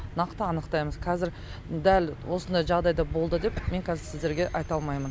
нақты анықтаймыз қазір дәл осындай жағдайда болды деп мен кәзір сіздерге айта алмаймын